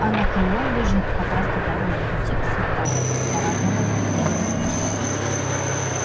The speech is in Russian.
анакреон лежит как раз на торговом пути к сантани трантору и веге